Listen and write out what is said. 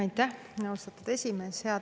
Aitäh, austatud esimees!